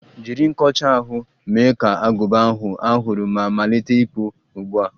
Jiri nkọcha ahụ, mee ka agụba ahụ a hụrụ ma malite ịkpụ ugbu a!